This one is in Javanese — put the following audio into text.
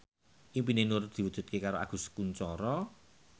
impine Nur diwujudke karo Agus Kuncoro